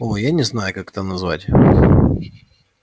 оо я не знаю как это назвать